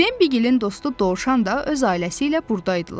Bembigil'in dostu Dovşan da öz ailəsi ilə buradaydılar.